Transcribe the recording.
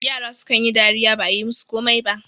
yara sukan yi dariya ba a yi musu komai ba